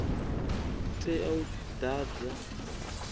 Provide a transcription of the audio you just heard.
tea u ḓadzwa nga muthu